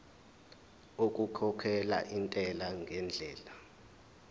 okukhokhela intela ngendlela